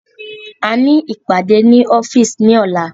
A ní ìpàdé ní ọ́fíìsì ní ọ̀la